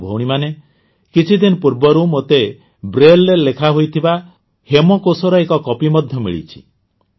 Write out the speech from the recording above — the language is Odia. ଭାଇ ଓ ଭଉଣୀମାନେ କିଛିଦିନ ପୂର୍ବରୁ ମୋତେ ବ୍ରେଲରେ ଲେଖାହୋଇଥିବା ହେମକୋଷର ଏକ କପି ମଧ୍ୟ ମିଳିଛି